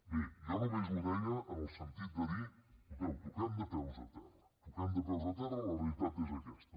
bé jo només ho deia en el sentit de dir escolteu toquem de peus a terra toquem de peus a terra la realitat és aquesta